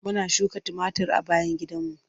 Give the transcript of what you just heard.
Muna suka tumatir a bayan gidanmu.